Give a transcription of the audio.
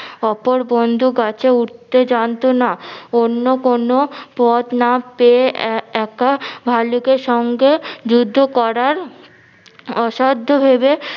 অপর বন্ধু গাছে উঠতে জানতো না অন্য কোনো পথ না পেয়ে এ একা ভাল্লুকের সঙ্গে যুদ্ধ করার, অসাদ্ধ ভেবে